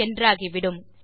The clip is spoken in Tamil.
என்றாகிவிடும்